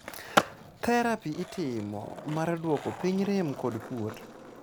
therapi itimo mar duoko piny rem kod kuot